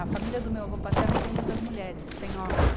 A família do meu avô paterno não tem muitas mulheres, tem homens.